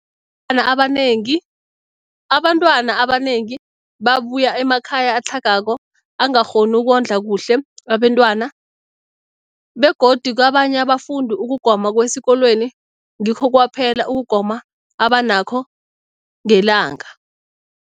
na abanengi abantwana abanengi babuya emakhaya atlhagako angakghoni ukondla kuhle abentwana, begodu kabanye abafundi, ukugoma kwesikolweni ngikho kwaphela ukugoma abanakho ngelanga.